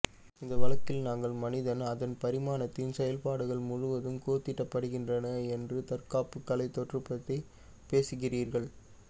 இந்த வழக்கில் நாங்கள் மனிதன் அதன் பரிணாமத்தின் செயல்பாடு முழுவதும் கூர்தீட்டப்படுகின்றன என்று தற்காப்பு கலை தோற்றம் பற்றி பேசுகிறீர்கள்